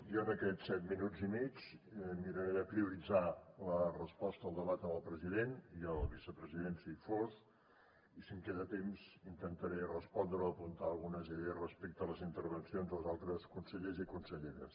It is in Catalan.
jo en aquests set minuts i mig miraré de prioritzar la resposta al debat amb el president i el vicepresident si hi fos i si em queda temps intentaré respondre o apuntar algunes idees respecte a les intervencions dels altres consellers i conselleres